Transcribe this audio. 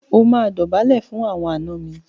O máa dọ̀bálẹ̀ fún àwọn àna mi.